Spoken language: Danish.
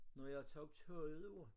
Når jeg tog tøjet af